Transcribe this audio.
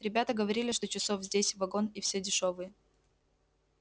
ребята говорили что часов здесь вагон и все дешёвые